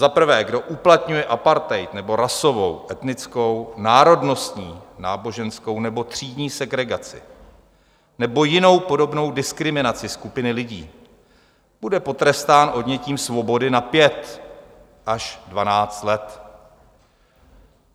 Za prvé: Kdo uplatňuje apartheid nebo rasovou, etnickou, národnostní, náboženskou nebo třídní segregaci nebo jinou podobnou diskriminaci skupiny lidí, bude potrestán odnětím svobody na pět až dvanáct let.